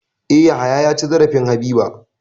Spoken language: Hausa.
E, Yahaya ya ci zarafin Habiba.